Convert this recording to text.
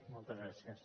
moltes gràcies